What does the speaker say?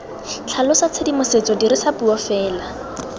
tlhalosa tshedimosetso dirisa puo fela